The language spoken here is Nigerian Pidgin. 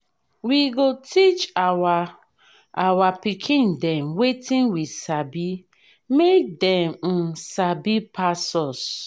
we go teach our our pikin dem wetin we sabi make dem um sabi pass us.